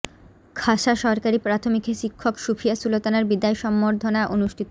খাসা সরকারি প্রাথমিকে শিক্ষক সুফিয়া সুলতানার বিদায় সংবর্ধনা অনুষ্ঠিত